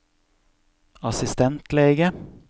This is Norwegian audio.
assistentlege